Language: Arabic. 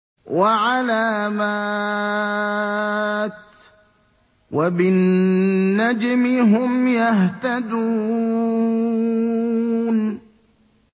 وَعَلَامَاتٍ ۚ وَبِالنَّجْمِ هُمْ يَهْتَدُونَ